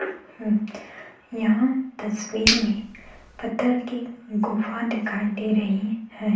हं यहां तस्वीर में पत्थर की गुफा दिखाई दे रही है।